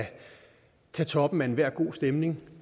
kan tage toppen af enhver god stemning